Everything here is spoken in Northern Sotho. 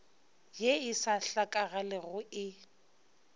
ye e sa hlakagalego e